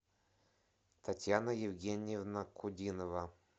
татьяна евгеньевна кудинова